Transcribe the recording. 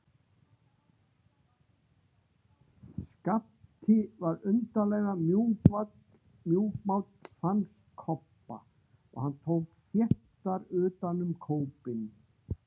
Skapti var undarlega mjúkmáll, fannst Kobba, og hann tók þéttar utan um kópinn.